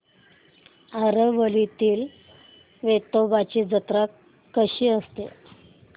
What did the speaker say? आरवलीतील वेतोबाची जत्रा कशी असते